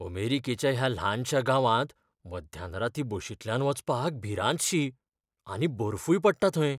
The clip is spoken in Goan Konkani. अमेरिकेच्या ह्या ल्हानशा गांवांत मध्यानरातीं बशींतल्यान वचपाक भिरांतशी, आनी बर्फूय पडटा थंय.